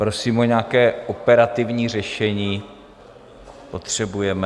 Prosím o nějaké operativní řešení, potřebujeme...